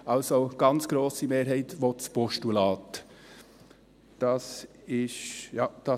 Die ganz grosse Mehrheit will das Postulat.